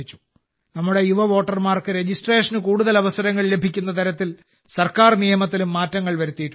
നമ്മുടെ യുവവോട്ടർമാർക്ക് രജിസ്ട്രേഷന് കൂടുതൽ അവസരങ്ങൾ ലഭിക്കുന്ന തരത്തിൽ സർക്കാർ നിയമത്തിലും മാറ്റങ്ങൾ വരുത്തിയിട്ടുണ്ട്